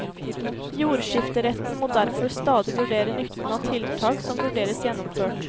Jordskifteretten må derfor stadig vurdere nytten av tiltak som vurderes gjennomført.